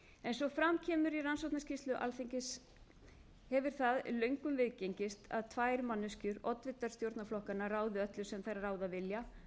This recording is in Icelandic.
eins og fram kemur í skýrslu rannsóknarnefndar alþingis hefur það löngum viðgengist að tvær manneskjur oddvitar stjórnarflokkanna ráði öllu sem þær ráða vilja